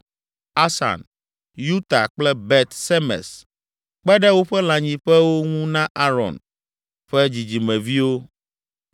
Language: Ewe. Asan, Yuta kple Bet Semes kpe ɖe woƒe lãnyiƒewo ŋu na Aron ƒe dzidzimeviwo.